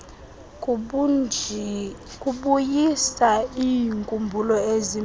kubuyisa iinkumbulo ezimnandi